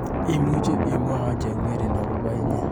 Imuchi imwawa cheng'ering akobo inyee?